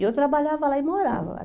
E eu trabalhava lá e morava lá.